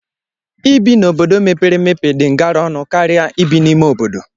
Ibi na obodo mepere emepe dị ngara ónu karịa ibi n'ime obodo